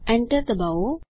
Enter ડબાઓ